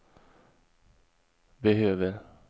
behöver